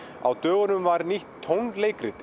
á dögunum var nýtt